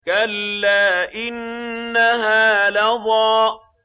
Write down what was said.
كَلَّا ۖ إِنَّهَا لَظَىٰ